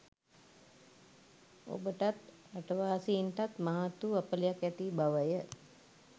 ඔබටත් රටවාසීන්ටත් මහත් වූ අපලයක් ඇති බවය.